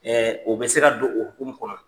o bɛ se ka don o hukumu kɔnɔ.